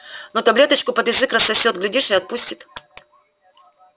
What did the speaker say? но таблеточку под язык рассосёт глядишь и отпустит